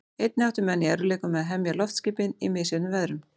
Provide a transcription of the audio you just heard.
Einnig áttu menn í erfiðleikum með að hemja loftskipin í misjöfnum veðrum.